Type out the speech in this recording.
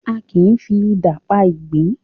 Àki ń fi idà pá igbin